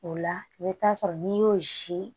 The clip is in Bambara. O la i bɛ taa sɔrɔ n'i y'o si